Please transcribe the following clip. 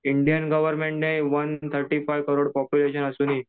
Indian government ने one thirty five crore population असूनही.